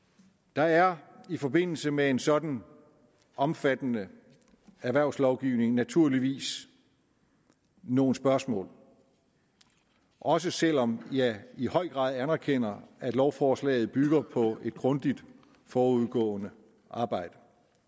der er i forbindelse med en sådan omfattende erhvervslovgivning naturligvis nogle spørgsmål også selv om jeg i høj grad anerkender at lovforslaget bygger på et grundigt forudgående arbejde